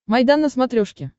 майдан на смотрешке